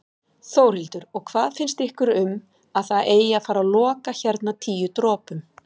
Þórhildur: Og hvað finnst ykkur um að það eigi að fara loka hérna Tíu dropum?